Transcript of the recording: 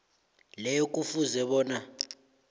leyo kufuze bona